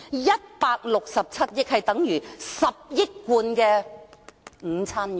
167億元，等於10億罐午餐肉。